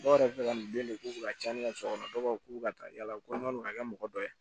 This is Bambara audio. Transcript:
Dɔw yɛrɛ bɛ fɛ ka nin den de k'u fɛ ka caya ne ka so kɔnɔ dɔw b'a fɔ k'u bɛ ka taa yala ko n'aw ka kɛ mɔgɔ dɔ ye